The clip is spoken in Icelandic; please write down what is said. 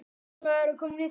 Hann er dáinn núna.